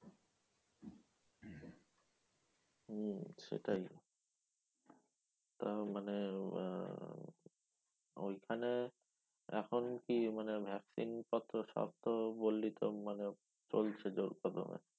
হম সেটাই। তা মানে আহ ঐখানে এখন কি মানে vaccine কত? সবতো বললি তো মানে চলছে জোর কদমে।